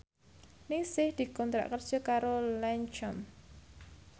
Ningsih dikontrak kerja karo Lancome